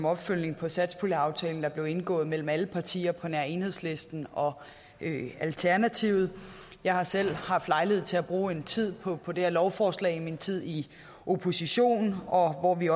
opfølgning på satspuljeaftalen der blev indgået mellem alle partier på nær enhedslisten og alternativet jeg har selv haft lejlighed til at bruge en tid på på det her lovforslag i min tid i opposition og vi